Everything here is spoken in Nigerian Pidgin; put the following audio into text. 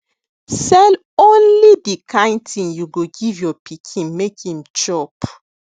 sell only de kain thing u go give your pikin make em chop